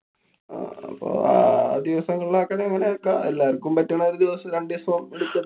അപ്പൊ ആ ദിവസങ്ങളില് ആക്കണെങ്കില്‍ അങ്ങനെ ആക്കാം. എല്ലാര്‍ക്കും പറ്റണ ഒരു ദിവസം~ രണ്ടീസം